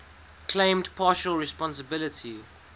claimed partial responsibility